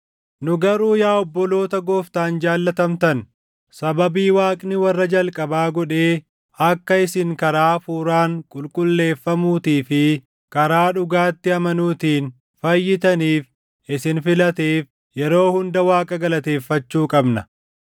Nu garuu yaa obboloota Gooftaan jaallatamtan, sababii Waaqni warra jalqabaa godhee akka isin karaa Hafuuraan qulqulleeffamuutii fi karaa dhugaatti amanuutiin fayyitaniif isin filateef yeroo hunda Waaqa galateeffachuu qabna.